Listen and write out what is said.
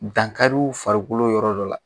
Dankari u farikolo yɔrɔ dɔ la